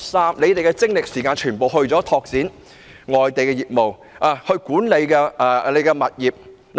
港鐵公司把精力和時間全部用於拓展外地業務及管理物業。